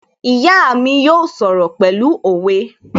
My mother will speak in proverbs